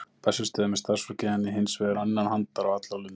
Á Bessastöðum er starfsfólkið henni hins vegar innan handar á alla lund.